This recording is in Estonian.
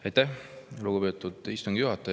Aitäh, lugupeetud istungi juhataja!